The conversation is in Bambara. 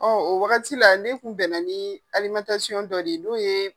Ɔn o wagati la ne kun bɛn na ni dɔ de n'o ye